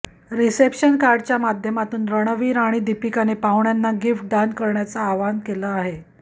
reception कार्डच्या माध्यमातून रणवीर आणि दीपिकाने पाहुण्यांना गिफ्ट दान करण्याचं आवाहन केलं आहे